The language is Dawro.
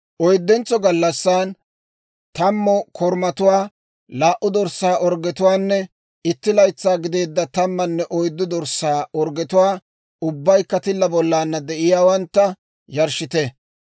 « ‹Oyddentso gallassan, tammu korumatuwaa, laa"u dorssaa orggetuwaanne itti laytsaa gideedda tammanne oyddu dorssaa orggetuwaa, ubbaykka tilla bollana de'iyaawantta, yarshshite.